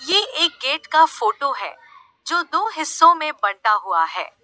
ये एक गेट का फोटो है जो दो हिस्सों में बटा हुआ है।